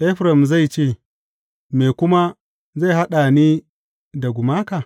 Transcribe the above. Efraim zai ce, me kuma zai haɗa ni da gumaka?